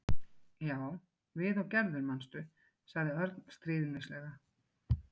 Já, við og Gerður, manstu? sagði Örn stríðnislega.